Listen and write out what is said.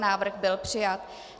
Návrh byl přijat.